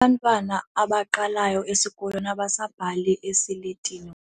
Abantwana abaqalayo esikolweni abasabhali esiletini.